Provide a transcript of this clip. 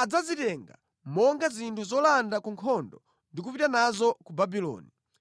adzazitenga monga zinthu zolanda ku nkhondo ndi kupita nazo ku Babuloni.